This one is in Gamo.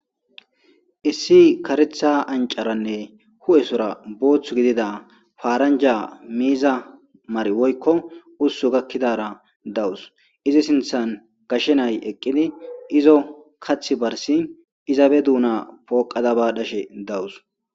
issi karetha ancaranne hu7esora boothth gidida faaranja miiza mari woykko ussu gakkidara dawus izi sinthan gashshenay eqqidi izo kath barsi izabe duuna pooqada ba dhashe dawus